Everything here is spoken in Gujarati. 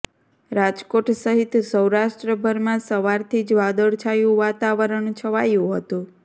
રાજકોટ સહિત સૌરાષ્ટ્રભરમાં સવારથી જ વાદળછાયું વાતાવરણ છવાયું હતું